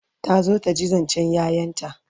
ta zo taji zancen ƴaƴanta